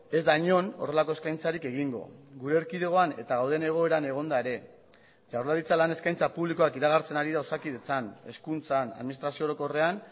ez da inon horrelako eskaintzarik egingo gure erkidegoan eta gauden egoeran egonda ere jaurlaritza lan eskaintza publikoak iragartzen ari da osakidetzan hezkuntzan administrazio orokorrean